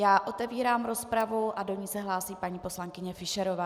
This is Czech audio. Já otevírám rozpravu a do ní se hlásí paní poslankyně Fischerová.